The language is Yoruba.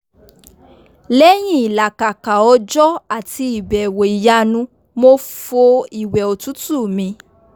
lẹ́yìn ìlàkàka òjọ́ àti ìbẹ̀wò ìyanu mo fo ìwẹ̀ òtútù mi